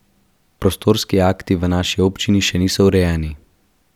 Prostorski akti v naši občini še niso urejeni.